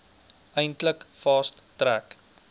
eintlik fast track